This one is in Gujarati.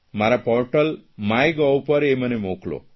મારા પોર્ટલ માય ગોવ પર એ મને મોકલો